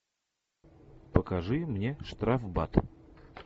покажи мне штрафбат